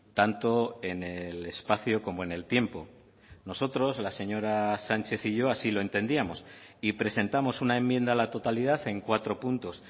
tanto en el espacio como en el tiempo nosotros la señora sánchez y yo así lo entendíamos y presentamos una enmienda a la totalidad en cuatro puntos